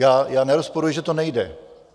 Já nerozporuji, že to nejde .